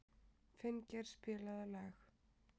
Finngeir, spilaðu lag.